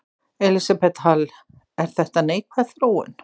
Elísabet Hall: Er þetta neikvæð þróun?